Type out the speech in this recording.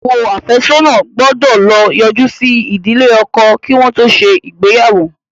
Ìyàwó afesona gbó ló yoju sí ìdílé ọkọ kí wọn tó ṣe ìgbéyàwó.